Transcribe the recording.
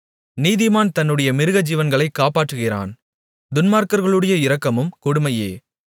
நீதிமான் தன்னுடைய மிருகஜீவன்களைக் காப்பாற்றுகிறான் துன்மார்க்கர்களுடைய இரக்கமும் கொடுமையே